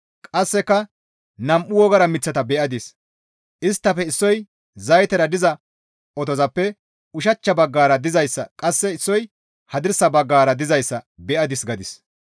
Qasseka nam7u wogara miththata be7adis; isttafe issoy zaytera diza otozappe ushachcha baggara dizayssa qasse issoy hadirsa baggara dizayssa be7adis» gadis.